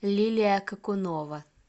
лилия какунова